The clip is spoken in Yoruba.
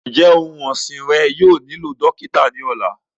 Njẹ ọun ọsin rẹ yóò nilo dokita ni ọla?